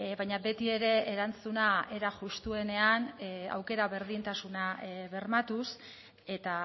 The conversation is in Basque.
baina beti ere erantzuna era justuenean aukera berdintasuna bermatuz eta